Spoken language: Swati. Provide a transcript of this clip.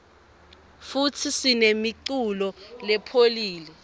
futsi sinemuculo lepholile